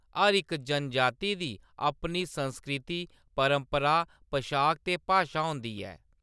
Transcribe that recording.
हर इक जनजाति दी अपनी संस्कृति, परंपरा, पशाक ते भाशा होंदी ऐ।